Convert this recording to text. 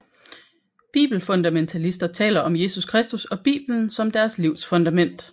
Bibelfundamentalister taler om Jesus Kristus og Bibelen som deres livs fundament